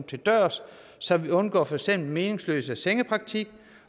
til dørs så vi undgår for eksempel meningsløs sengepraktik